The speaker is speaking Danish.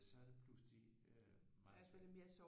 Så er det pludselig meget øh meget